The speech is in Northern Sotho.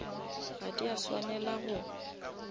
ga di a swanela go